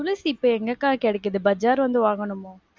துளசி இப்ப எங்கக்கா கெடைக்குது? பஜார் வந்து வாங்கணுமோ?